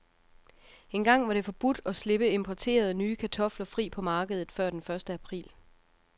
Engang var det forbudt at slippe importerede, nye kartofler fri på markedet før den første april.